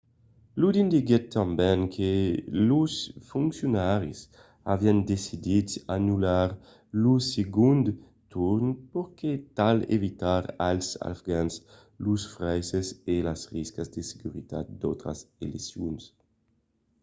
lodin diguèt tanben que los foncionaris avián decidit d'anullar lo segond torn per tal d'evitar als afgans los fraisses e las riscas de seguretat d'autras eleccions